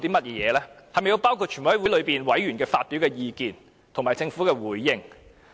是否須包括全委會委員發表的意見，以及政府的回應？